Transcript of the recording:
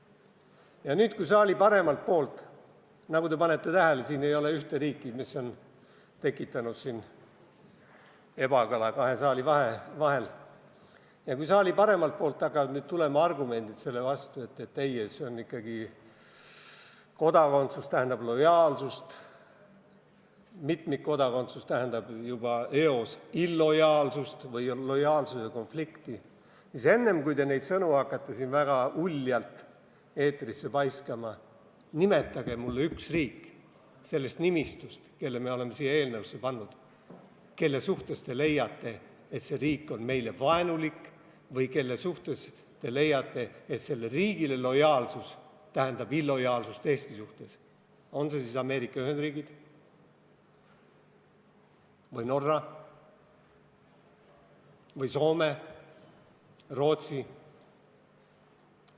Ja nüüd, kui saali paremalt poolt – nagu te panite tähele, ei ole siin nimetatud ühte riiki, mis on tekitanud ebakõla kahe saalipoole vahel – hakkavad tulema argumendid selle vastu, et ei, et kodakondsus tähendab ikkagi lojaalsust, mitmikkodakondsus tähendab juba eos ebalojaalsust või lojaalsuse konflikti, siis enne, kui hakkate neid sõnu väga uljalt eetrisse paiskama, nimetage mulle sellest nimistust üks riik, kelle me oleme siia eelnõusse pannud ja kelle puhul te leiate, et see riik on meile vaenulik, või kelle puhul te leiate, et lojaalsus selle riigi suhtes tähendab ebalojaalsust Eesti suhtes – on see siis Ameerika Ühendriigid või Norra või Soome või Rootsi.